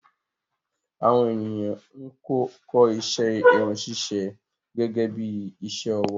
Àwọn ènìyàn ń kọ́ iṣẹ́ Irun ṣíṣe gẹ́gẹ́bí iṣẹ́ ọwọ́